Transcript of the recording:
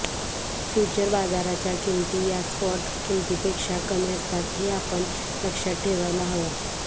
future बाजाराच्या किंमती या स्पॉट किंमतींपेक्षा कमी असतात हे आपण लक्षात ठेवायला हवं